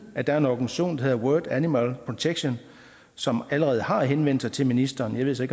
at der er en organisation der hedder world animal protection som allerede har henvendt sig til ministeren jeg ved så